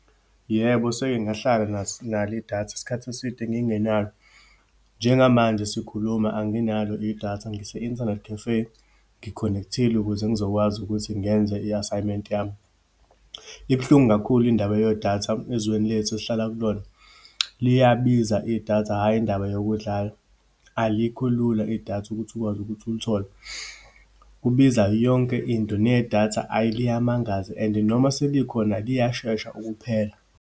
Yebo, seke ngahlala naso, nalo idatha isikhathi eside ngingenalo. Njengamanje sikhuluma, anginalo idatha. Ngise-internet cafe, ngi-connect-ile ukuze ngizokwazi ukuthi ngenze i-assignment-i yami. Ibuhlungu kakhulu indaba yedatha ezweni lethu, esihlala kulona. Liyabiza idatha, hhayi indaba yokudlala. Alikho lula idatha ukuthi ukwazi ukuthi ulithole, kubiza yonke into. Nedatha, ayi liyamangaza and noma selikhona liyashesha ukuphela.